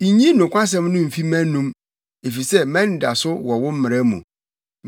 Nyi nokwasɛm no mfi mʼanom, efisɛ mʼanidaso wɔ wo mmara mu.